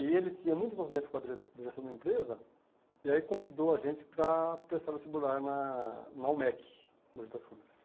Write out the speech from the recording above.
E ele tinha muito envolvimento com a direto direção da empresa, e aí convidou a gente para prestar esse burlar na na UMEC, no Mogi das Cruzes.